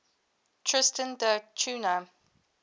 tristan da cunha